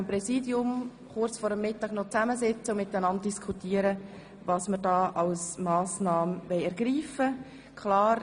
Das Präsidium wird sich kurz vor dem Mittag noch zusammensetzen und diskutieren, welche Massnahmen ergriffen werden sollen.